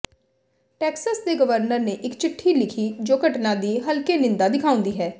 Texas ਦੇ governor ਨੇ ਇਕ ਚਿੱਠੀ ਲਿਖੀ ਜੋ ਘਟਨਾ ਦੀ ਹਲਕੇ ਨਿੰਦਾ ਦਿਖਾਉਂਦੀ ਹੈ